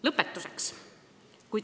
Lõpetuseks.